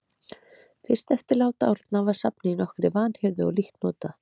Fyrst eftir lát Árna var safnið í nokkurri vanhirðu og lítt notað.